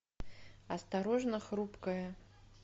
осторожно хрупкое